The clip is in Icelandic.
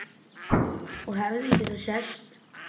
Og hefði getað sést.